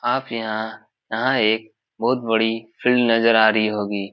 आप यहाँ यहाँ एक बोहोत बड़ी फील्ड नजर आ रही होगी।